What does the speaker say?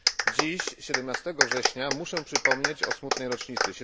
Dziś, 17 września, muszę przypomnieć o smutnej rocznicy,